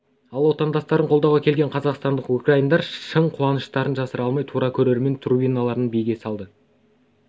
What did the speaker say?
ал отандастарын қолдауға келген қазақстандық украиндар шын қуаныштарын жасыра алмай тура көрермен трибуналарынан биге салды